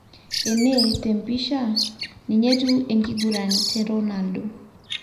Ene ,tempisha, ninye etiu enkiguran te Ronaldo.